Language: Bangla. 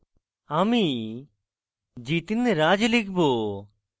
আমি jitinraj লিখব